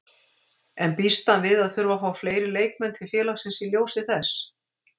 En býst hann við að þurfa að fá fleiri leikmenn til félagsins í ljósi þess?